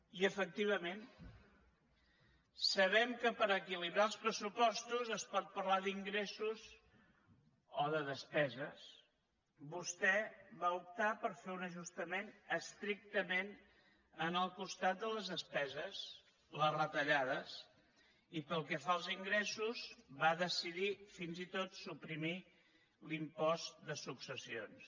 i efectivament sabem que per equilibrar els pressupostos es pot parlar d’ingressos o de despeses vostè va optar per fer un ajustament estrictament en el costat de les despeses les retallades i pel que fa als ingressos va decidir fins i tot suprimir l’impost de successions